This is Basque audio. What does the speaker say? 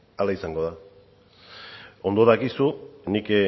hala izango da ondo dakizu nik